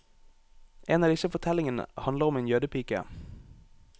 En av disse fortellingene handler om en jødepike.